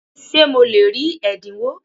Ṣé mo lè rí ẹ̀dínwó?